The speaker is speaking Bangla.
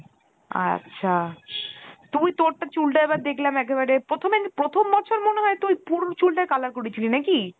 আচ্ছা , তুই তোরটা চুলটা এবার দেখলাম একেবারে প্রথমে প্রথম বছর মনে হয় তুই পুরো চুলটা color করেছিলি না কি?